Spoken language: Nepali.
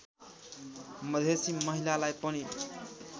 मधेसी महिलालाई पनि